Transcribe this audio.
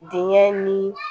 Denkɛ ni